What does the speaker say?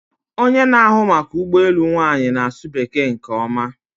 Onye na-ahụ maka ụgbọ elu nwanyị na-asụ Bekee nke ọma